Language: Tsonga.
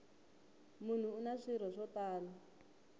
munhu una swirho swo tala